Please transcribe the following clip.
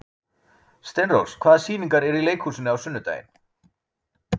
Steinrós, hvaða sýningar eru í leikhúsinu á sunnudaginn?